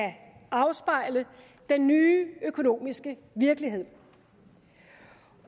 afspejle den nye økonomiske virkelighed